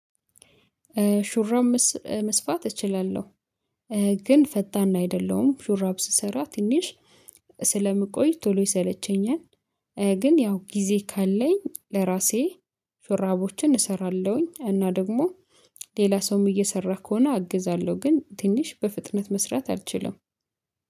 ሹራብ መስፋት እችላለሁ። ግን ፈጣን አይደለሁም ሹራብ ስሰራ ትንሽ ስለምቆይ ቶሎ ይሰለቸኛል። ግን ያው ጊዜ ካለኝ ለራሴ ሽራቦችን እሰራለሁኝ። እና ደግሞ ሌላ ሰውም እየሰራ ከሆነ አግዛለሁ። ግን ትንሽ በፍጥነት መስራት አልችልም